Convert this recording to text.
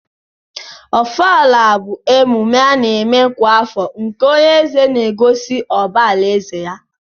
ọfala bu emume ana eme kwa afọ nke onye eze n'egosi ụba alaeze ya.